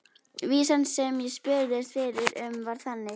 Vísan sem ég spurðist fyrir um var þannig: